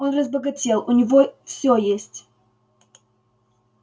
он разбогател у него все есть